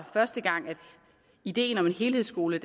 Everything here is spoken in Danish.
første gang ideen om en helhedsskole